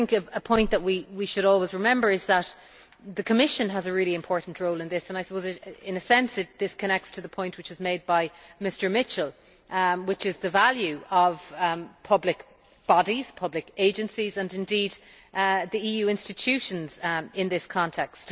A point that we should always remember is that the Commission has a really important role in this and I suppose in a sense this connects to the point which was made by Mr Mitchell, which is the value of public bodies, public agencies and indeed the EU institutions in this context.